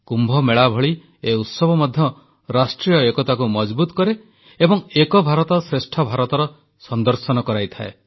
କୁମ୍ଭମେଳା ଭଳି ଏ ଉତ୍ସବ ମଧ୍ୟ ରାଷ୍ଟ୍ରୀୟ ଏକତାକୁ ମଜଭୁତ୍ କରେ ଏବଂ ଏକ ଭାରତ ଶ୍ରେଷ୍ଠ ଭାରତର ସଂଦର୍ଶନ କରାଇଥାଏ